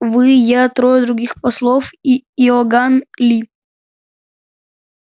вы я трое других послов и иоганн ли